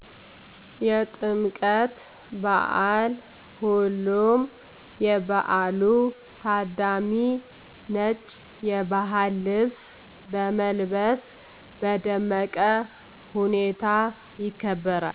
የጥምቀት በዓል ሁሉም የበዓሉ ታዳሚ ነጭ የባህል ልብስ በመልበስ በደመቀ ሁኔታ ይከበራል